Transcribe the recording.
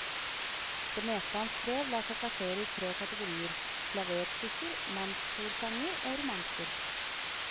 Det meste han skrev lar seg plassere i tre kategorier, klaverstykker, mannskorsanger og romanser.